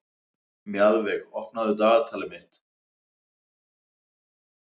Mjaðveig, opnaðu dagatalið mitt.